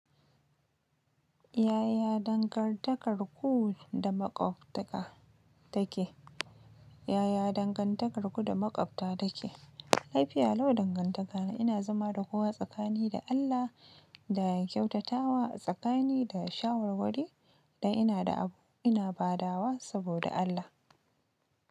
Yaya dangantakarku da maƙwabtaka take? Yaya dangantakarku da maƙwabta take? Laifiya lau dangantakana. Ina zama da kowa tsakani da Allah da kyautatawa a tsakani da shawarwuri da ina da abu ina badawa saboda Allah.